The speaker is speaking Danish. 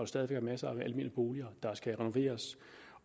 stadig væk masser af almene boliger der skal renoveres